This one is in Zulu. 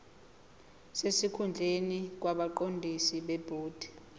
sesikhundleni kwabaqondisi bebhodi